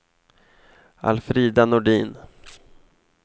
Alfrida Nordin